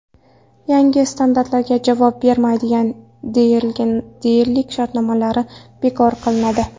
Yangi standartlarga javob bermaydigan dilerlarning dilerlik shartnomalari bekor qilinadi.